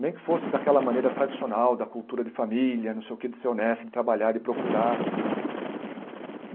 Nem que fosse daquela maneira tradicional, da cultura de família, não sei o que, de ser honesto, de trabalhar de procurar.